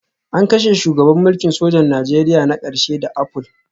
An kashe shugaban mulkin sojan Najeriya na ƙarshe da apple